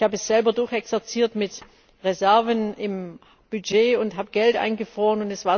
Ich habe es selber durchexerziert mit Reserven im Budget und habe Geld eingefroren.